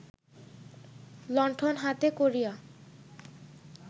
লণ্ঠন হাতে করিয়া